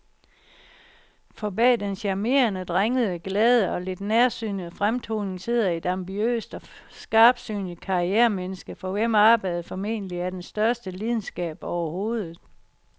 For bag den charmerende, drengede, glade og lidt nærsynede fremtoning sidder et ambitiøst og skarpsynet karrieremenneske, for hvem arbejdet formentlig er den største lidenskab overhovedet.